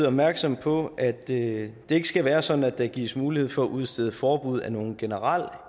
opmærksom på at det ikke skal være sådan at der gives mulighed for at udstede forbud af en generel